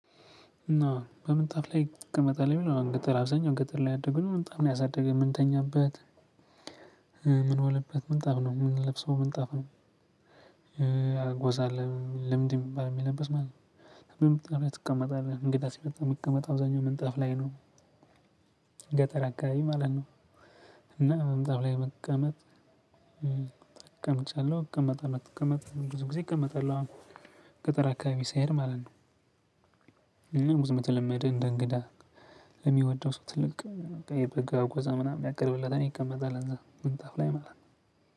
እና በምንጣፍ ላይ ትቀመጣለህ? የሚለውን ገጠር አብዛኛው ገጠር ላይ ያደግነው ምንጣፍ ነው ያሳደገን ምንተኛበት ምንውልበት ምንጣፍ ነው፤ ምንለብሰው ምንጣፍ ነው። ጎዛ አለ ልምድ ሚባል የሚለበስ ማለት ነው። ምንጣፍ ላይ ትቀመጣለህ። እንግዳ ሲመጣ ሚቀመጠው አብዛኛው መንጣፍ ላይ ነው። ገጠር አካባቢ ማለት ነው እና ምንጣፍ ላይ መቀመጥ ተቀምጫለሁ እቀመጠጣለው። እቀመጣለሁ ብዙ ጊዜ እቀመጣለሁ አሁን ገጠራ አካባቢ ስሄድ ማለት ነው። ብዙ የተለመደ እንደ እንግዳ ለሚወደው ሰው ትልቅ የበጋ አጎዛ ምናምን ያቀርብለታል ይቀመጣል እዛ ምንጣፍ ላይ ማለት ነው።